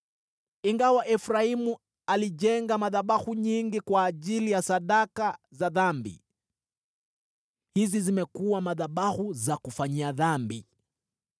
“Ingawa Efraimu alijenga madhabahu nyingi kwa ajili ya sadaka za dhambi, hizi zimekuwa madhabahu za kufanyia dhambi.